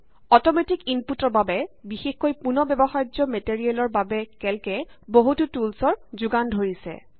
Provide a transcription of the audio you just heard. automatic ইনপুটৰ বাবে বিশেষকৈ পুনঃ ব্যৱহাৰ্য মেটেৰিয়েলৰ বাবে কেল্ক এ বহুতো টুলচৰ যোগান ধৰিছে